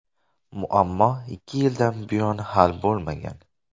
Muammo ikki yildan buyon hal bo‘lmagan.